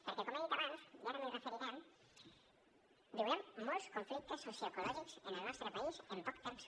perquè com he dit abans i ara m’hi referiré viurem molts conflictes socioecològics en el nostre país en poc temps